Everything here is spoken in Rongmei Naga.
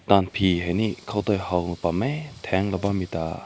la bi hai nekaw ta haw nam meh tang bam meh ta.